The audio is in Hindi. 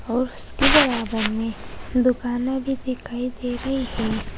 और उसके बराबर में दुकाने भी दिखाई दे रही हैं।